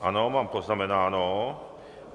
Ano, mám poznamenáno.